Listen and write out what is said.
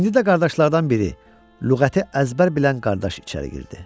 İndi də qardaşlardan biri, lüğəti əzbər bilən qardaş içəri girdi.